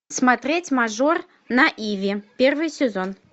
смотреть мажор на иви первый сезон